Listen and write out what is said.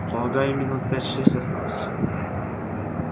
полагаю минут пять-шесть осталось